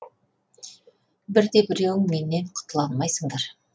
бір де біреуің менен құтыла алмайсыңдар